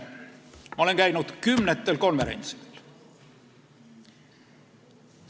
Ma olen käinud kümnetel konverentsidel.